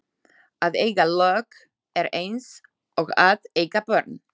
Að eiga lög er eins og að eiga börn.